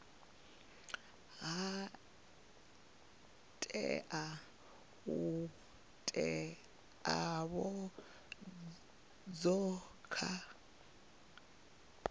ha tea u teavhedzwa kha